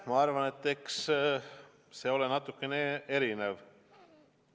Ma arvan, et eks see ole natukene erinev.